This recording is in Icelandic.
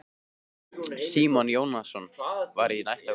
Símon Jónasson var í næsta húsi.